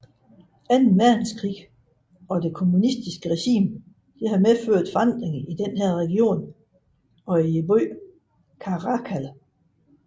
Anden Verdenskrig og det kommunistiske regime medførte forandringer i denne region og i byen Caracal